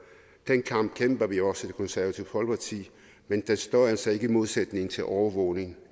den kamp kæmper vi også i det konservative folkeparti men den står altså ikke i modsætning til overvågning